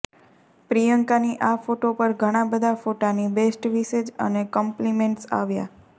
પ્રિયંકાની આ ફોટા પર ઘણા બધા ફોટાની બેસ્ટ વિશેજ અને કોમ્લિમેંટસ આવ્યા છે